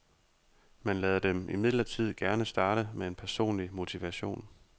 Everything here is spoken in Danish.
Man lader dem imidlertid gerne starte med en personlig motivation.